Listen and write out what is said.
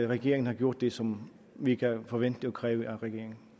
regeringen har gjort det som vi kan forvente og kræve af regeringen